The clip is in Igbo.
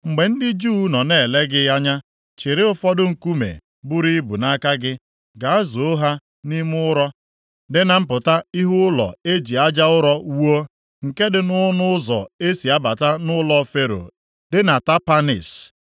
“Mgbe ndị Juu nọ na-ele gị anya, chịrị ụfọdụ nkume buru ibu nʼaka gị, gaa zoo ha nʼime ụrọ dị na mpụta ihu ụlọ e ji aja ụrọ + 43:9 Lit. Brik wuo, nke dị nʼọnụ ụzọ e si abata nʼụlọ Fero dị na Tapanhis.